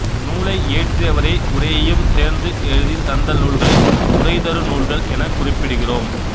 நூலை இயற்றியவரே உரையையும் சேர்ந்து எழுதித் தந்த நூல்களை உரைதருநூல்கள் எனக் குறிப்பிடுகிறோம்